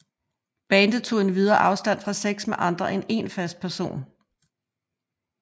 Bandet tog endvidere afstand fra sex med andre end en fast partner